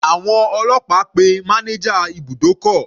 Àwọn ọlọ́pàá pe manager ibùdókọ̀.